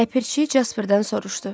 Ləpirçi Casperdən soruşdu: